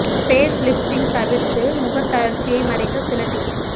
face lifting தவிர்த்து முகத் தளர்ச்சியை மறைக்க சில டிப்ஸ்